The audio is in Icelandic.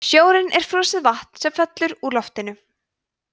snjórinn er frosið vatn sem fellur úr loftinu